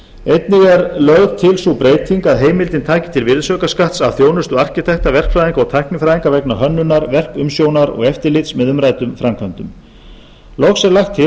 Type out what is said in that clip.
einnig er lögð til sú breyting að heimildin taki til virðisaukaskatts af þjónustu arkitekta verkfræðinga og tæknifræðinga vegna hönnunar verkumsjónar og eftirlits með umræddum framkvæmdum loks er lagt til að